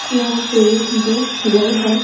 यहां पे दो चेयर है।